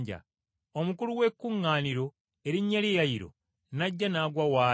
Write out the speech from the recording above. Omukulu w’ekkuŋŋaaniro erinnya lye Yayiro n’ajja n’agwa w’ali,